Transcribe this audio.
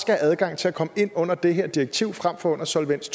have adgang til at komme ind under det her direktiv frem for under solvens